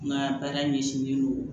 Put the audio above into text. N ka baara ɲɛsinnen don